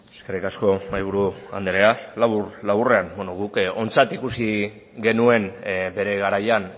eskerrik asko mahaiburu andrea labur laburrean beno guk ontzat ikusi genuen bere garaian